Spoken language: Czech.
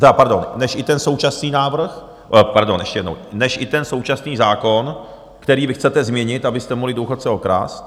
tedy pardon, než i ten současný návrh... pardon ještě jednou, než i ten současný zákon, který vy chcete změnit, abyste mohli důchodce okrást.